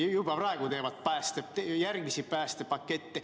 Juba praegu teevad päästjad järgmisi päästepakette.